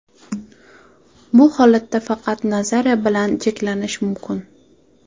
Bu holatda faqat nazariya bilan cheklanish mumkin.